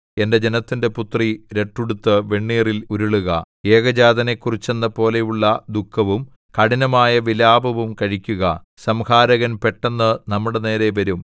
എന്റെ ജനത്തിന്റെ പുത്രീ രട്ടുടുത്ത് വെണ്ണീറിൽ ഉരുളുക ഏകജാതനെക്കുറിച്ച് എന്നപോലെയുള്ള ദുഃഖവും കഠിനമായ വിലാപവും കഴിക്കുക സംഹാരകൻ പെട്ടെന്ന് നമ്മുടെനേരെ വരും